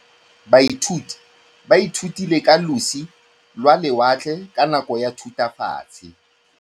Baithuti ba ithutile ka losi lwa lewatle ka nako ya Thutafatshe.